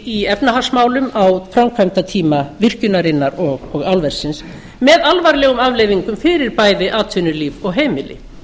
í efnahagsmálum á framkvæmdatíma virkjunarinnar og álversins með alvarlegum afleiðingum fyrir bæði atvinnulíf og heimili